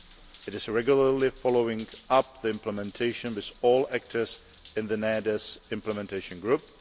It is regularly following up the implementation with all actors in the NAIADES implementation group.